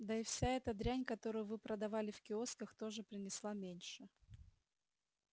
да и вся эта дрянь которую вы продавали в киосках тоже принесла меньше